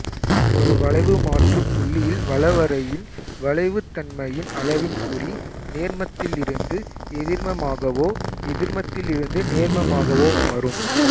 ஒரு வளைவுமாற்றுப் புள்ளியில் வளவரையின் வளைவுத்தன்மையின் அளவின் குறி நேர்மத்திலிருந்து எதிர்மமாகவோ எதிர்மத்திலிருந்து நேர்மமாகவோ மாறும்